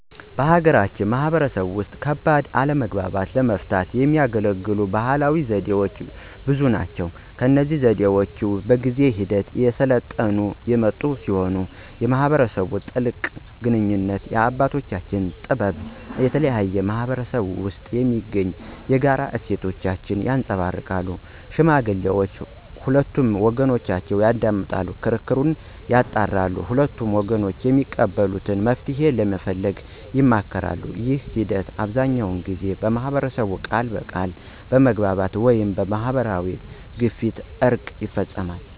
በሀገራችን ማህበረሰብ ውስጥ ከባድ አለመግባባቶችን ለመፍታት የሚያገለግሉ ባህላዊ ዘዴዎች ብዙ ናቸው። እነዚህ ዘዴዎች በጊዜ ሂደት እየሰለጠኑ የመጡ ሲሆን የማህበረሰቡን ጥልቅ ግንኙነት፣ የአባቶችን ጥበብ እና የተለያዩ ማህበረሰቦች ውስጥ የሚገኙ የጋራ እሴቶችን ያንፀባርቃሉ። ሽማግሌዎች ሁለቱንም ወገኖች ያዳምጣሉ፣ ክርክሩን ያጣራሉ እና ሁለቱም ወገኖች የሚቀበሉትን መፍትሄ ለመፈለግ ይሞክራሉ። ይህ ሂደት አብዛኛውን ጊዜ በማህበረሰቡ ፊት ቃል በመግባት ወይም በማህበራዊ ግፊት እርቅ ይፈፀማል።